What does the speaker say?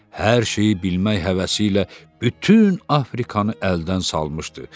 Hər şeyi bilmək həvəsi ilə bütün Afrikanı əldən salmışdı.